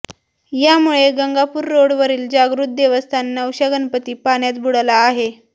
यामुळे गंगापूर रोडवरील जागृत देवस्थान नवश्या गणपती पाण्यात बुडाला आहे